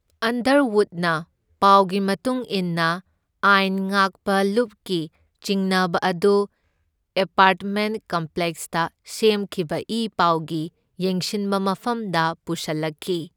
ꯑꯟꯗꯔꯋꯨꯗꯅ ꯄꯥꯎꯒꯤ ꯃꯇꯨꯡ ꯏꯟꯅ ꯑꯥꯏꯟ ꯉꯥꯛꯄ ꯂꯨꯞꯀꯤ ꯆꯤꯡꯅꯕ ꯑꯗꯨ ꯑꯦꯄꯥꯔꯠꯃꯦꯟꯠ ꯀꯝꯄ꯭ꯂꯦꯛꯁꯇ ꯁꯦꯝꯈꯤꯕ ꯏ ꯄꯥꯎꯒꯤ ꯌꯦꯡꯁꯤꯟꯕ ꯃꯐꯝꯗ ꯄꯨꯁꯜꯂꯛꯈꯤ꯫